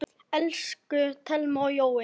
Elsku Thelma og Jói.